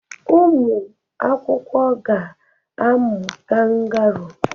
ụmụ akwụkwọ ga-amụ kangaroo